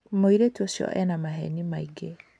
Mũirĩtu ũcio ena mahenĩ maingĩ.